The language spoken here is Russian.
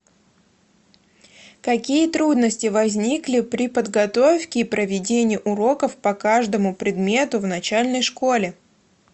какие трудности возникли при подготовке и проведении уроков по каждому предмету в начальной школе